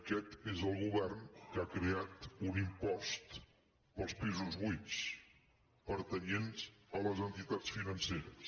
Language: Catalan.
aquest és el govern que ha creat un impost per als pisos buits pertanyents a les entitats financeres